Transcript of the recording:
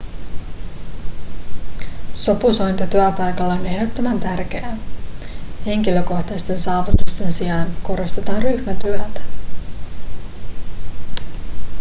sopusointu työpaikalla on ehdottoman tärkeää henkilökohtaisten saavutusten sijaan korostetaan ryhmätyötä